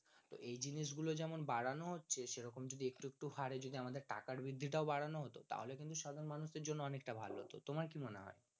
তো এই জিনিসগুলো যেমন বাড়ানো হচ্ছে সেরকম যদি একটু একটু হরে যদি আমাদের টাকার বৃদ্ধিটাও বাড়ানো হাত তাহলে কিন্তু সাধারণ মানুষের জন্য অনেকটা ভালো হত তোমার কি মনে হয়?